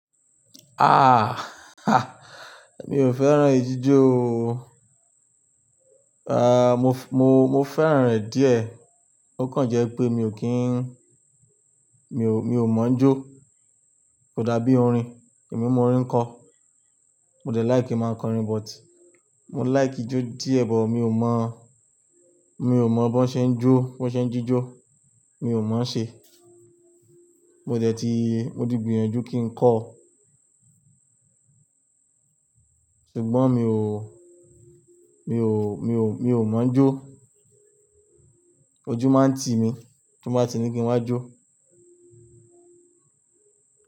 Mi ò fẹ́ràn ijó o. Ah, mo, mo, mo fẹ́ràn rẹ̀ díẹ̀. Ó kan jẹ́ pé mi ò kí n-- mi ò, mi ò mọ̀ án jó. Kò dàbí orin. Èmi mo orin ńkọ. Mo dẹ like kí máa kọ orin but mo like ijó díẹ̀, but mi ò mọ̀, mi ò mọ̀ bó ṣe ń jó, bó ṣe ń jíjó, mi ò mọ̀ án ṣe. Mo dẹ̀ ti gbìyànjú kí n kọ. Ṣùgbọ́n mi ò, mi ò, mi ò, mi ò mọ̀ án jó. Ojú máa ń tì mí bí mo bá ti ní kí n wá jó.